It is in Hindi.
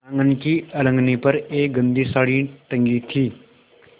आँगन की अलगनी पर एक गंदी साड़ी टंगी थी